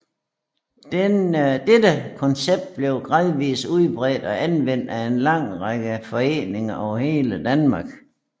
Dette koncept blev gradvist udbredt og anvendt af en lang række foreninger over hele Danmark